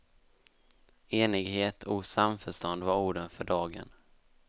Enighet och samförstånd var orden för dagen.